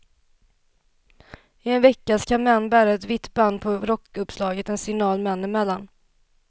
I en vecka ska män bära ett vitt band på rockuppslaget, en signal män emellan.